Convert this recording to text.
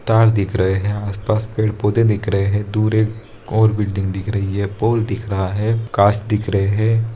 तार दिख रहे है आस-पास पेड़-पौधे दिख रहे है दूर एक और बिल्डिंग दिख रही है पोल दिख रहा है गाछ दिख रहे है।